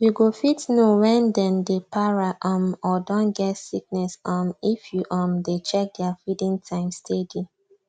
you go fit know when then dey para um or don get sickness um if you um dey check their feeding time steady